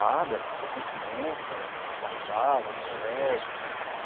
Batia continência, marchava no colégio.